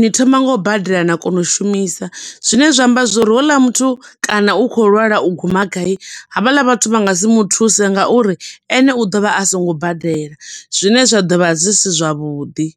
ni thoma ngo u badela na kona u shumisa. Zwine zwa amba zwo uri houḽa muthu kana u khou lwala u guma gai, ha vhaḽa vhathu vha nga si muthuse nga uri ene u ḓo vha a songo badela, zwine zwa ḓo vha zwi si zwavhuḓi.